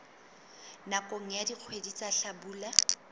nakong ya dikgwedi tsa hlabula